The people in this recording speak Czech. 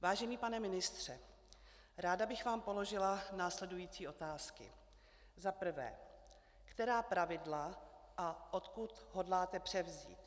Vážený pane ministře, ráda bych vám položila následující otázky: Za prvé, která pravidla a odkud hodláte převzít?